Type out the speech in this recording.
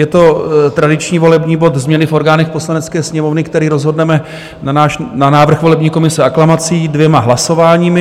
Je to tradiční volební bod Změny v orgánech Poslanecké sněmovny, který rozhodneme na návrh volební komise aklamací dvěma hlasováními.